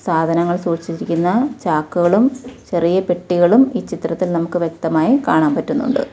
സാധനങ്ങൾ സൂക്ഷിച്ചിരിക്കുന്ന ചാക്കുകളും ചെറിയ പെട്ടികളും ഈ ചിത്രത്തിൽ നമുക്ക് വ്യക്തമായി കാണാൻ പറ്റുന്നുണ്ട്.